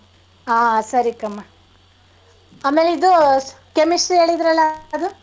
ಹಾ ಸರಿ ಕ್ಕಮ್ಮ. ಆಮೇಲೆ ಇದು chemistry ಹೇಳಿದ್ರಲ್ಲಾ ಅದು.